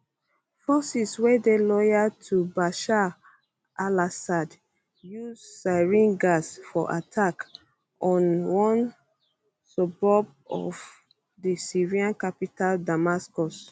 forces wey dey loyal to bashar alassad use sarin gas for attack on one suburb of di syrian capital damascus